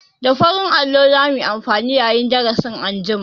Da farin allo za mu yi amfani yayin darasi anjima.